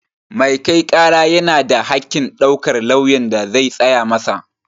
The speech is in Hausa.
Mai kai ƙara yana da haƙƙin ɗaukar lauyan da zai tsaya masa